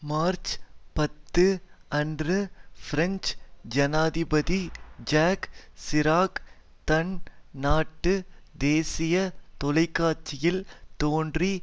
March பத்து அன்று French ஜனாதிபதி ஜாக் சிராக் தன் நாட்டு தேசிய தொலைக்காட்சியில் தோன்றி